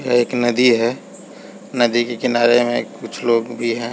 एक नदी है नदी के किनारे में कुछ लोग भी है ।